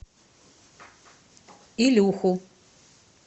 илюху